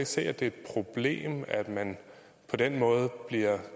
se at det er et problem at man på den måde bliver